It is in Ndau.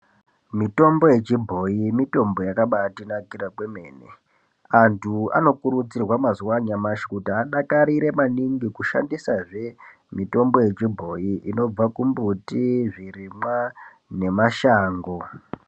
Mitombo yechibhoyi mitombo yakabatinakira kwemene. Antu anokurudzirwa mazuwa anyamashi kuti adakarire maningi kushandisazve, mitombo yechibhoyi inobva kumbuti, zvirimwa nemashango.